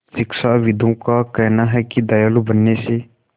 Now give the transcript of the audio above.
शिक्षाविदों का कहना है कि दयालु बनने से